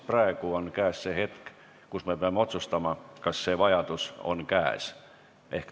Praegu on käes see hetk, kui me peame otsustama, kas see vajadus on käes.